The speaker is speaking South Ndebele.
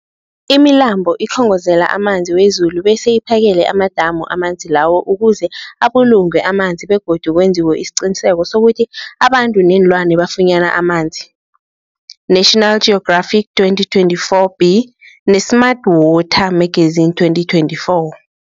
Imilambo ikhongozela amanzi wezulu bese iphakele amadamu amanzi lawo ukuze abulungwe amanzi begodu kwenziwe isiqiniseko sokuthi abantu neenlwana bafunyana amanzi, National Geographic 2024b, ne-Smart Water Magazine 2024.